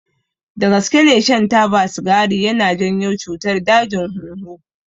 Dagaske ne shan taba sigari yana janyo cutar dajin hunhu.